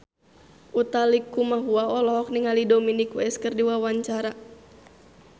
Utha Likumahua olohok ningali Dominic West keur diwawancara